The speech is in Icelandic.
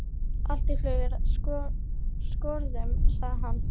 Allt flug er úr skorðum, sagði hann.